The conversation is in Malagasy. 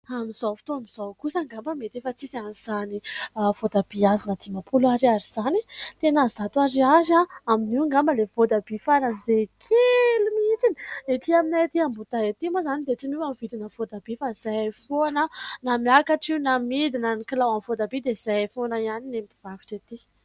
Amin'izao fotoan'izao kosa ngamba mety efa tsisy an'izany voatabia azona dimampolo ariary izany. Tena zato ariary. Amin'io ngamba ilay voatabia faran'izay kely mihitsiny. Ety aminay ety Ambohidahy ety moa izany dia tsy miova ny vidina voatabia fa izay foana. Na miakatra io na midina ny kilao aminy voatabia dia izay foana ihany ny an'ny mpivarotra ety.